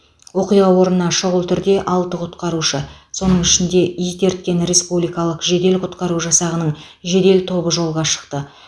оқиға орнына шұғыл түрде алты құтқарушы соның ішінде ит ерткен республикалық жедел құтқару жасағының жедел тобы жолға шықты